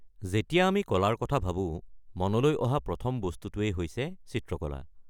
যেতিয়া আমি কলাৰ কথা ভাবো, মনলৈ অহা প্ৰথম বস্তুটোৱেই হৈছে চিত্ৰকলা।